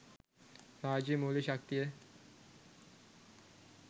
රාජ්‍ය මූල්‍ය ශක්තිය